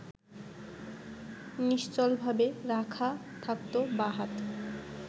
নিশ্চলভাবে রাখা থাকত বাঁ হাত